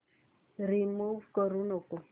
remove करू नको